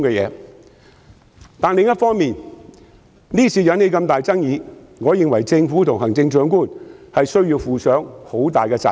不過，另一方面，這次引起那麼大的爭議，我認為政府和行政長官需要負上很大的責任。